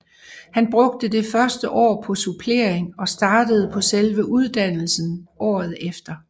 Han brugte det første år på supplering og startede på selve uddannelsen året efter